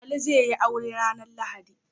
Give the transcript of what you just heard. Ali zai yi aure ranar lahadi